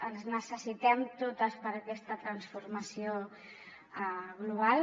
ens necessitem totes per a aquesta transformació global